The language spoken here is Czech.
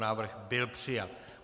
Návrh byl přijat.